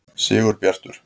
Sigurbjartur